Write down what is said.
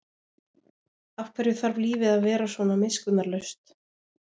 Af hverju þarf lífið að vera svona miskunnarlaust?